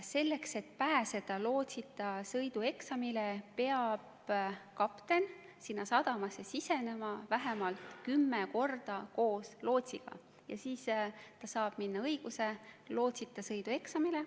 Selleks et pääseda lootsita sõidu eksamile, peab kapten konkreetsesse sadamasse siseminna nema vähemalt kümme korda koos lootsiga ja siis ta saab õiguse minna lootsita sõidu eksamile.